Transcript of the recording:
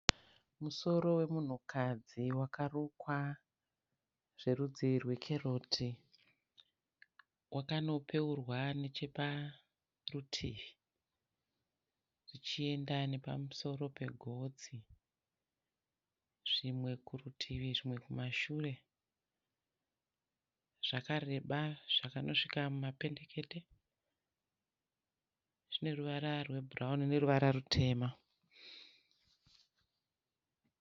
Musoro wemunhukadzi wakarukwa zverudzi rwekeroti. Wakanopeurwa necheparutivi zvichenda nepamuso pegotsi. Zvimwe kurutivi zvimwe kumashure. Zvakareba zvakanosvika mumapendekate. Zvine ruvara rwebhurauni neruvara rutema.